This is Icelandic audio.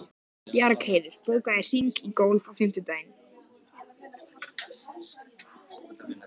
Bar þau upp að vörunum einsog elskhuga.